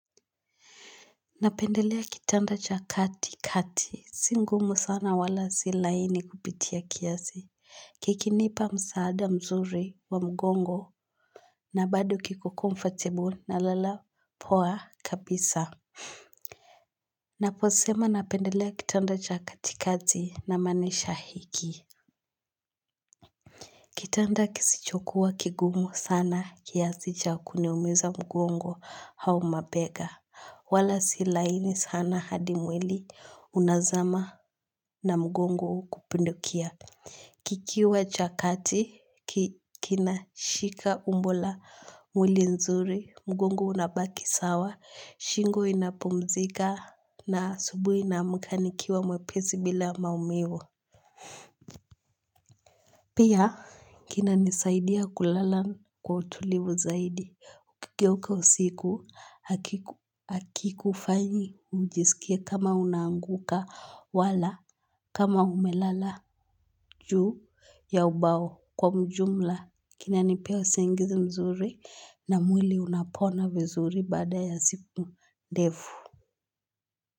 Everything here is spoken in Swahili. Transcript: Napendelea kitanda cha kati kati si ngumu sana wala si laini kupitia kiasi Kikinipa msaada mzuri wa mgongo na bado kiko comfortable na lala poa kabisa Naposema napendelea kitanda cha kati kati na maanisha hiki Kitanda kisichokuwa kigumu sana kiasi cha kuniumiza mgongo au mabega wala si laini sana hadi mwili unazama na mgongo kupindukia. Kikiwa chakati, kinashika umbo la mwili nzuri, mgongo unabaki sawa, shingo inapumzika na asubuhi naamka nikiwa mwepesi bila maumivu. Pia, kina nisaidia kulala kwa utulivu zaidi. Ukigeuka usiku hakikufanyi ujisikie kama unaanguka wala kama umelala juu ya ubao kwa mjumla. Kina nipea usingizi mzuri na mwili unapona vizuri baada ya siku ndefu.